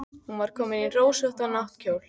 Hún var komin í rósóttan náttkjól.